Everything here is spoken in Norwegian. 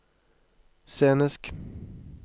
scenisk